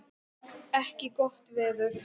ekki gott veður.